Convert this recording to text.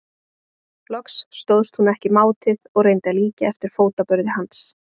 Loks stóðst hún ekki mátið og reyndi að líkja eftir fótaburði hans.